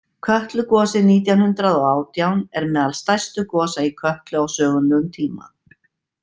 Kötlugosið nítján hundrað og átján er meðal stærstu gosa í Kötlu á sögulegum tíma.